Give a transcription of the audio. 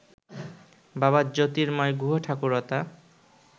বাবা জ্যোর্তিময় গুহঠাকুরতা